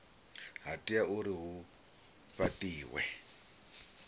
ha tea uri hu fhatiwe